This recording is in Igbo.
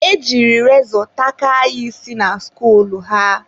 e jiri rezọ takaa ya isi na skuul ha.